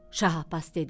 Şah Abbas dedi: